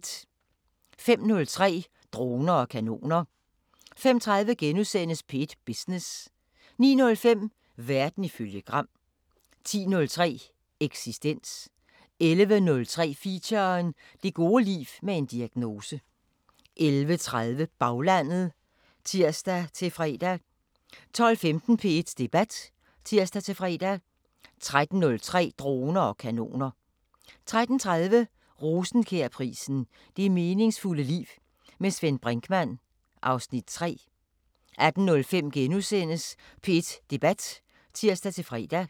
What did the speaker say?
05:03: Droner og kanoner 05:30: P1 Business * 09:05: Verden ifølge Gram 10:03: Eksistens 11:03: Feature: Det gode liv med en diagnose 11:30: Baglandet (tir-fre) 12:15: P1 Debat (tir-fre) 13:03: Droner og kanoner 13:30: Rosenkjærprisen: Det meningsfulde liv. Med Svend Brinkmann (Afs. 3) 18:05: P1 Debat *(tir-fre)